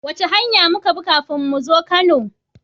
Wace hanya muka bi kafin muzo kano?